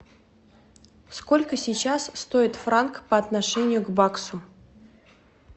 сколько сейчас стоит франк по отношению к баксу